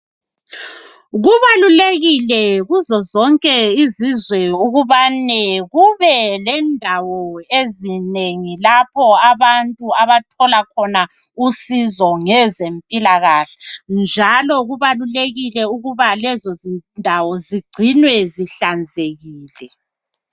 Kubalulekile kuzo zonke izizwe ukubane kube lendawo ezinengi lapho abantu abathola khona usizo ngezempilakahle. Njalo kubalulekile ukuba lezozindawo zigcinwe zihlanzekile.